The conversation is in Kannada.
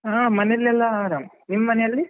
ಹಾ ಮನೆಯಲ್ಲೆಲ್ಲ ಆರಾಮ್, ನಿಮ್ ಮನೆಯಲ್ಲಿ?